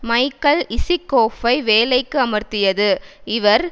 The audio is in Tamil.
மைக்கல் இசிக்கோஃபை வேலைக்கு அமர்த்தியது இவர்